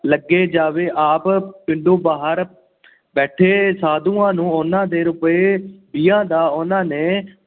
ਲੱਗ ਜਾਵੇ। ਆਪ, ਪਿੰਡੋ ਬਾਹਰ ਬੈਠੇ ਸਾਧੂਆਂ ਨੂੰ ਉਹਨਾਂ ਦੇ ਰੁਪਏ ਦੀਆਂ ਦਾ ਉੇਹਨਾ ਨੇ